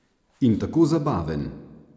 In tako zabaven.